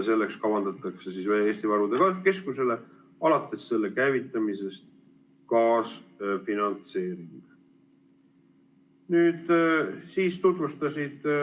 Selleks kavandatakse Eesti Varude Keskusele alates selle käivitamisest kaasfinantseering.